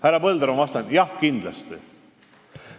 Härra Põldaru, ma vastan, et jah, kindlasti.